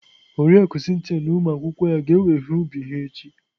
Oriakụ Cynthia na ụmụ akwụkwọ ya ga-ewe ihe ubi ha echi.